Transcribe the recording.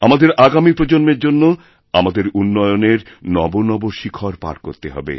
আমাদের আগামী প্রজন্মের জন্য আমাদের উন্নয়নের নবনব শিখর পার করতে হবে